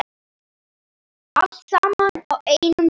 Allt saman á einum stað.